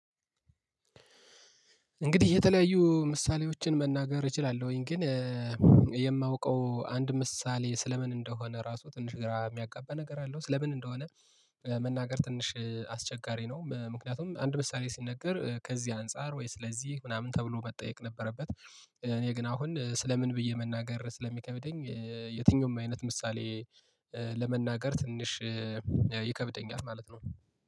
እንግዲህ የተለያዩ ምሳሌዎችን መናገር እችላለሁኝ ግን የማውቀው አንድ ምሳሌ ስለ ምን እንደሆነ ራሱ ትንሽ ግራ የሚያጋባ ነገር አለው ስለ ምን እንደሆነ መናገር ትንሽ አስቸጋሪ ነው ምክንያቱም አንድ ምሳሌ ሲነገር ከዚህ አንፃር ወይስ ለዚህ ምናምን ተብሎ መጠየቅ ነበረበት እኔ ግን አሁን ስለ ምን ብዬ መናገር ስለሚከብደኝ የትኛውም አይነት ምሳሌ ለመናገር ትንሽ ይከብደኛል ማለት ነው።